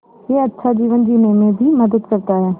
यह अच्छा जीवन जीने में भी मदद करता है